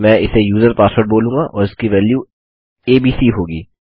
मैं इसे user password बोलूँगा और इसकी वेल्यू एबीसी होगी